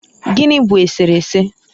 gịnị bụ eserese?